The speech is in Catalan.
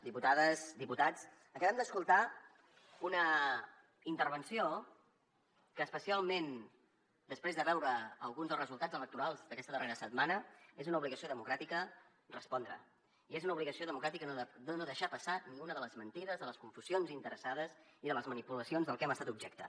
diputades diputats acabem d’escoltar una intervenció que especialment després de veure alguns dels resultats electorals d’aquesta darrera setmana és una obligació democràtica respondre i és una obligació democràtica no deixar passar ni una de les mentides de les confusions interessades i de les manipulacions de què hem estat objecte